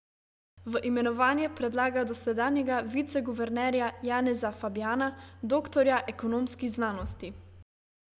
V imenovanje predlaga dosedanjega viceguvernerja Janeza Fabijana, doktorja ekonomskih znanosti.